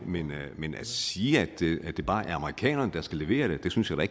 men at sige at det bare er amerikanerne der skal levere det synes jeg da